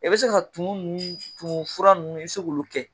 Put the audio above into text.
E be se ka tumu ninnu tumu fura ninnu e be se k'olu kɛ